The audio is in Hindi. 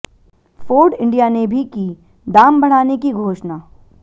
फोर्ड इंडिया ने भी की दाम बढ़ाने की घोषणा